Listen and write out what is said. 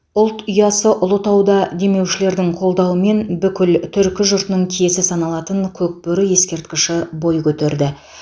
ұлт ұясы ұлытауда демеушілердің қолдауымен бүкіл түркі жұртының киесі саналатын көкбөрі ескерткіші бой көтерді